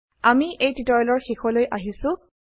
আমি এই টিউটোৰিয়েলৰ শেষলৈ আহিছো